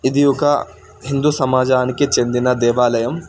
ఇది ఒక హిందూ సమాజానికి చెందిన దేవలయం.